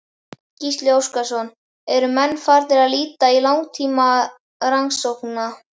Gísli Óskarsson: Eru menn þá farnir að líta til langtímarannsókna?